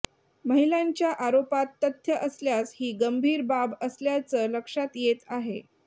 महिलांच्या आरोपात तथ्य़ असल्यास ही गंभीर बाब असल्याचं लक्षात येत आहे